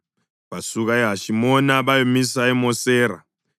Basuka eHashimona bayamisa eMosera.